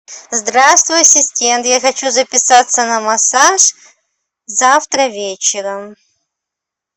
здравствуй ассистент я хочу записаться на массаж завтра вечером